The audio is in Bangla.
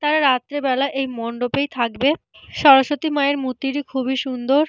তারা রাত্রে বেলা এই মণ্ডপেই থাকবে। সরস্বতী মায়ের মূর্তিটি খুবই সুন্দর।